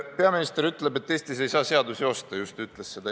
Peaminister ütleb, et Eestis ei saa seadusi osta, ta just ütles seda.